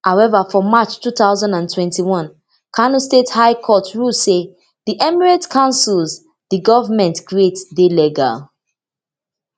however for march two thousand and twenty one kano state high court rule say di emirate councils di goment create dey legal